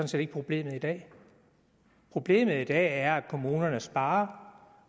set ikke problemet i dag problemet i dag er at kommunerne sparer